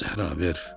Zəhra, ver."